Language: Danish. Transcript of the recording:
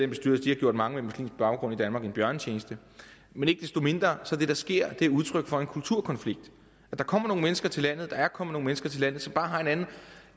bestyrelse har gjort mange med muslimsk baggrund i danmark en bjørnetjeneste men ikke desto mindre er det der sker udtryk for en kulturkonflikt der kommer nogle mennesker til landet og der er kommet nogle mennesker til landet som bare har en anden